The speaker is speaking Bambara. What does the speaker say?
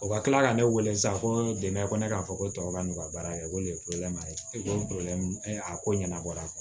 O ka kila ka ne wele sa ko dɛmɛ ko ne k'a fɔ ko cɛkɔrɔba n'u ka baara kɛ ko nin ye ye o a ko ɲɛnabɔra